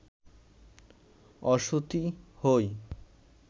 অসতী হই